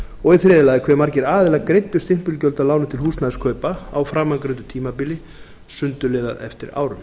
og í þriðja lagi hve margir aðilar greiddu stimpilgjöld af lánum til húsnæðiskaupa á framangreindu tímabili sundurliðað eftir árum